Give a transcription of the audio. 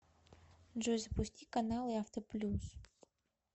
джой запусти каналы авто плюс